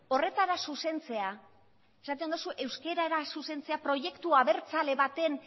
horretara zuzentzea esaten duzu euskarara zuzentzea proiektu abertzale baten